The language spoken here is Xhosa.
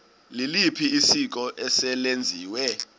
liliphi isiko eselenziwe